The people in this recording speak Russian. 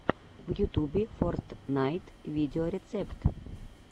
в ютубе фортнайт видеорецепт